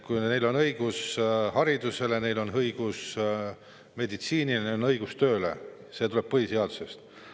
Neil on õigus haridusele, neil on õigus meditsiini, neil on õigus tööle – see tuleneb põhiseadusest.